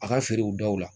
A ka feerew daw la